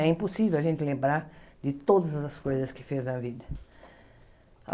É impossível a gente lembrar de todas as coisas que fez na vida.